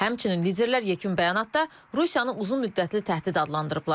Həmçinin liderlər yekun bəyanatda Rusiyanı uzunmüddətli təhdid adlandırıblar.